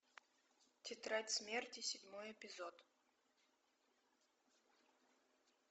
тетрадь смерти седьмой эпизод